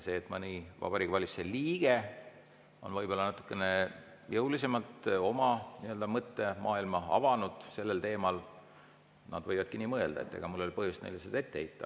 Kui mõni Vabariigi Valitsuse liige on võib-olla natukene jõulisemalt oma nii-öelda mõttemaailma avanud sellel teemal, siis nad võivadki nii mõelda, ega mul ei ole põhjust neile seda ette heita.